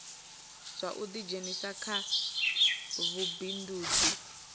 zwa u ḓidzhenisa kha vhubindudzi